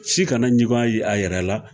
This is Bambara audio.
Si kana ɲugu a ye a yɛrɛ la